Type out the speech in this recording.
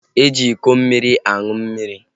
E ji iko mmiri aṅụ mmiri